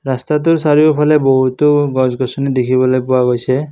ৰাস্তাটোৰ চাৰিওফালে বহুতো গছ-গছনি দেখিবলৈ পোৱা গৈছে।